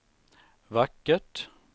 vackert